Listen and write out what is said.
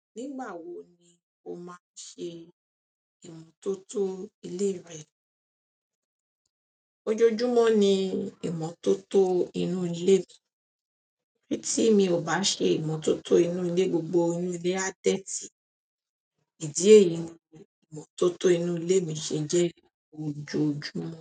Nígbà wo ni o máa ṣe ìmọ́tótó ilé rẹ? Ojoojúmọ́ ni ìmọ́tótó inú ilé mi. Tí mi ò bá ṣe ìmọ́tótó inú ilé, gbogbo inú ilé á dẹ́tì. Ìdí èyí ni ìmọ́tótó inú ilé mi ṣe jẹ́ ojoojúmọ́